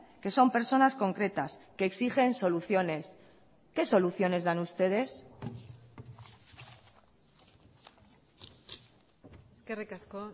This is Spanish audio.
que son personas concretas que exigen soluciones qué soluciones dan ustedes eskerrik asko